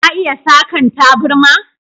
Ka iya Sakan taburma?